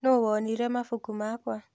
Nũ wonire mabuku makwa.